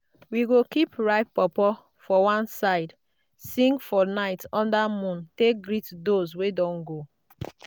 we go keep ripe pawpaw one side sing for night under moon take greet those wey don go.